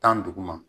Tan ni duguma